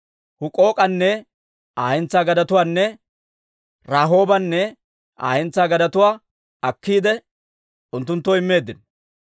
Huk'ook'anne Aa hentsaa gadetuwaanne Rahoobanne Aa hentsaa gadetuwaa akkiide, unttunttoo immeeddino.